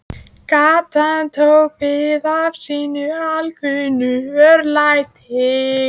Gatan tók við af sínu alkunna örlæti.